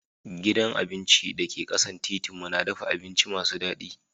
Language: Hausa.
Gidan abinci da ke kasan titin mu na dafa abinci masu dadi.